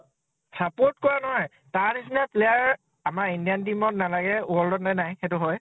support কৰা নাই । তাৰ নিচিনা player আমাৰ indian team ত নালাগে, world তে নাই, সেইটো হয় ?